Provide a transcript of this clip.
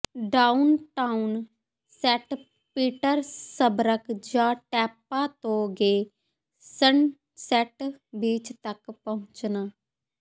downtown Saint Petersburg ਜਾਂ Tampa ਤੋਂ ਗੇ ਸਨਸੈਟ ਬੀਚ ਤੱਕ ਪਹੁੰਚਣਾ